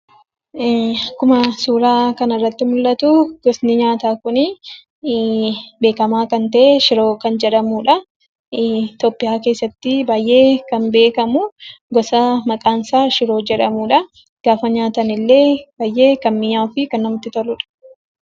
Akkuma suuraa kanarratti mul'atu beekamaa kan ta'e shiroo kan jedhamudha. Itoophiyaa keessatti baay'ee kan beekamu gosa maqaansaa shiroo jedhamudha. Gaafa nyaatanillee kan namatti toluu fi baay'ee kan mi'aawudha.